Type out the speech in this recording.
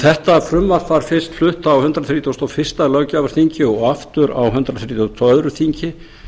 þetta frumvarp var fyrst flutt á hundrað þrítugasta og fyrsta löggjafarþingi og aftur á hundrað þrítugasta og öðru þingi